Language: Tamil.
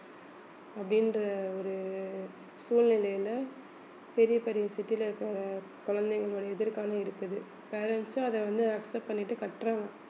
அப்படின்ற ஒரு சூழ்நிலையில பெரிய பெரிய city ல இருக்கிற குழந்தைங்களோட எதிர்காலம் இருக்குது parents உம் அதை வந்து accept பண்ணிட்டு கட்டுறாங்க